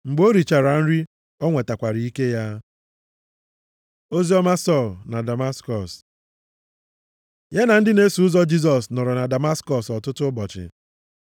Mgbe o richara nri, ọ nwetakwara ike ya. Oziọma Sọl na Damaskọs Ya na ndị na-eso ụzọ Jisọs nọrọ na Damaskọs ọtụtụ ụbọchị.